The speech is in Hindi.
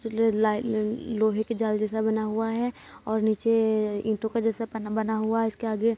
ल ल लोहे की जाल जैसा बना हुआ है और नीचे ईटों के जैसा पना बना हुआ है | इसके आगे--